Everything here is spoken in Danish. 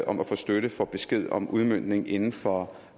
om at få støtte får besked om udmøntningen inden for